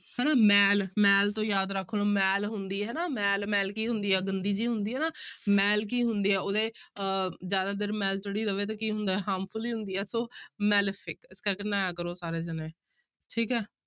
ਹਨਾ ਮੈਲ ਮੈਲ ਤੋਂ ਯਾਦ ਰੱਖ ਲਓ ਮੈਲ ਹੁੰਦੀ ਹਨਾ ਮੈਲ ਮੈਲ ਕੀ ਹੁੰਦੀ ਹੈ ਗੰਦੀ ਜਿਹੀ ਹੁੰਦੀ ਹੈ ਨਾ ਮੈਲ ਕੀ ਹੁੰਦੀ ਹੈ ਉਹਦੇ ਅਹ ਜ਼ਿਆਦਾ ਦੇਰ ਮੈਲ ਚੜੀ ਰਵੇ ਤੇ ਕੀ ਹੁੰਦਾ ਹੈ harmful ਹੀ ਹੁੰਦੀ ਹੈ ਸੋ malefic ਠੀਕ ਹੈ ਨਹਾਇਆ ਕਰੋ ਸਾਰੇ ਜਾਣੇ, ਠੀਕ ਹੈ।